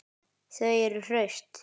Þau eru hraust